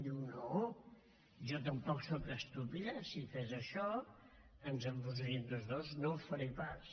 diu no jo tampoc sóc estúpida si fes això ens enfonsaríem tots dos no ho faré pas